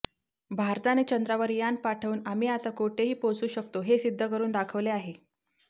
भारताने चंद्रावर यान पाठवून आम्ही आता कुठेही पोहचू शकतो हे सिध्द करून दाखवले आहे